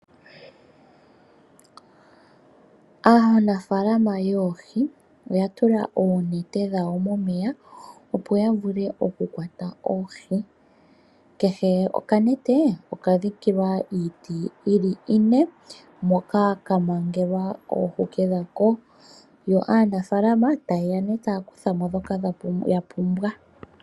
Aanafalama yoohi oya tula oonete dhawo momeya, opo ya vule oku kwata oohi, kehe okanete okadhikilwa iiti iine moka ka mangelwa oohuke dhako, yo aanafalama taye ya ne taya kutha mo ndhoka ya pumbwa.